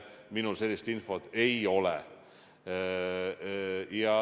Minul sellist infot ei ole.